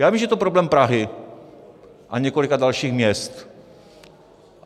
Já vím, že je to problém Prahy a několika dalších měst.